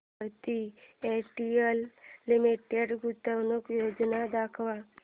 Bharti Airtel limited गुंतवणूक योजना दाखव